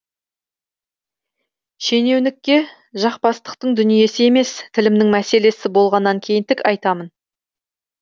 шенеунікке жақпастықтың дүниесі емес тілімнің мәселесі болғаннан кейін тік айтамын